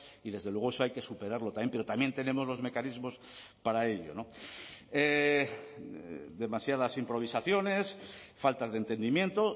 y desde luego eso hay que superarlo también pero también tenemos los mecanismos para ello demasiadas improvisaciones faltas de entendimiento